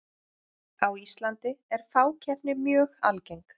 á íslandi er fákeppni mjög algeng